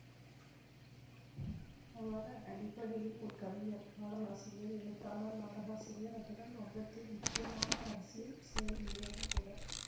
அவர் அடிப்படையில் ஒரு கவிஞர் பாடலாசிரியர் எழுத்தாளர் நாடகாசிரியர் அத்துடன் வங்கத்தின் முக்கியமான அரசியல் செயல்வீரரும்கூட